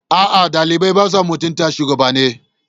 A'a, ɗalibai ba sa mutunta shugabanni.